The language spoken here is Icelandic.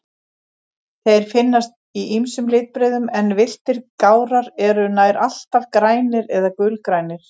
Þeir finnast í ýmsum litbrigðum, en villtir gárar eru nær alltaf grænir eða gulgrænir.